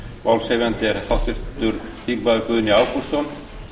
málshefjandi er háttvirtur þingmaður guðni ágústsson